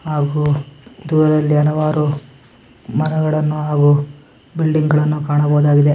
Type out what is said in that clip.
ಹಾಗು ದೂರದಲ್ಲಿ ಹಲವಾರು ಮರಗಳನ್ನು ಹಾಗು ಬಿಲ್ಡಿಂಗ್ಗಳನ್ನು ಕಾಣಬಹುದಾಗಿದೆ.